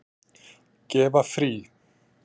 Gefa frí.